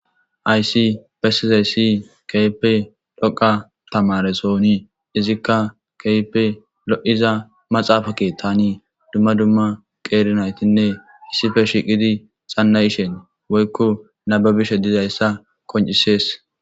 aysi bessizay si keype dhoqa tamaresooni izikka keype lo7iza maxaafake tani dumma dumma qeerinaytinne hissife shiqidi xannayishen woykko nababishe dizayssa qoncisees.